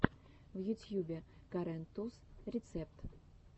в ютьюбе карен туз рецепт